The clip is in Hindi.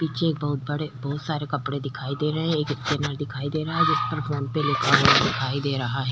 पीछे बहुत सारे कपड़े दिखाई दे रहे हैं एक स्कैनर दिखाई दे रहा है जिस पे फ़ोन पे लिखा हुआ दिखाई दे रहा है।